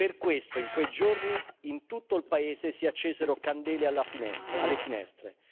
Per questo, in quei giorni in tutto il paese si accesero candele alle finestre.